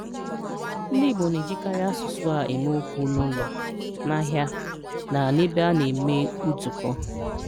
Ndị́ Ìgbò na-èjíkàrị́ àsụ̀sụ̀ a èmé okwu n’Ụ̀lọ̀, n’Áhị́à, na n’Èbé a na-èmè nzúkò